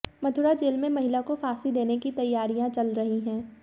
Mathura jail में महिला को फांसी देने की तैयारियां चल रही हैं